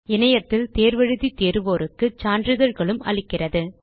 இணையத்தில் தேர்வு எழுதி தேர்வோருக்கு சான்றிதழ்களும் அளிக்கிறது